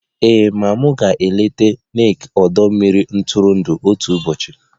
Ee, maa m ga-eleta Nike ọdọ mmiri ntụrụndụ otu ụbọchị